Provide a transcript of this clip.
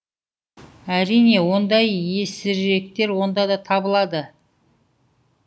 әрине ондай есіріктер онда да табылады